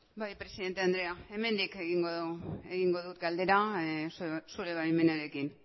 bai presidente andrea hemendik egingo dut galdera zure baimenarekin